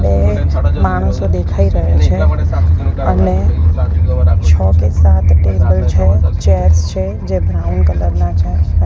બે માણસો દેખાય રહ્યા છે અને છો કે સાત ટેબલ છે ચેર્સ છે જે બ્રાઉન કલર ના છે.